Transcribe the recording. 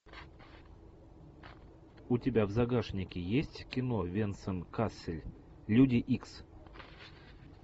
у тебя в загашнике есть кино венсан кассель люди икс